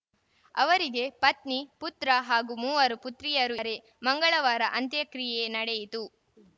ಅವರಿಗೆ ಪತ್ನಿ ಪುತ್ರ ಹಾಗೂ ಮೂವರು ಪುತ್ರಿಯರು ರೆ ಮಂಗಳವಾರ ಅಂತ್ಯಕ್ರಿಯೆ ನಡೆಯಿತು